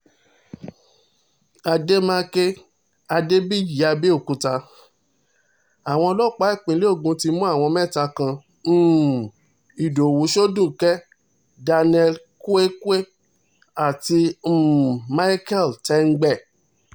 àdèmàkè adébíyìàbẹ̀òkúta àwọn ọlọ́pàá ìpínlẹ̀ ogun ti mú àwọn mẹ́ta kan um ìdòwú shoduké daniel i kwewé àti um micheal tengbẹ